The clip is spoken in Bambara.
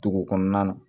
Dugu kɔnɔna na